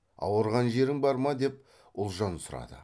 ауырған жерің бар ма деп ұлжан сұрады